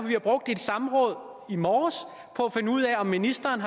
vi brugte et samråd i morges på at finde ud af om ministeren